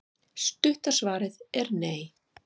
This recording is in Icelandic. stutta svarið er nei